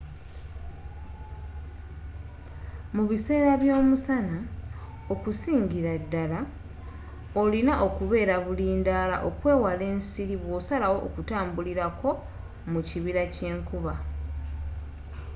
mu biseera by'omusana okusingira ddala olina okubeera bulindaala okwewala ensiri bwosalawo okutambulirako mu kibira kyenkuba